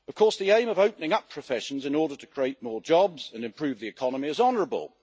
The aim of opening up professions in order to create more jobs and improve the economy is honourable.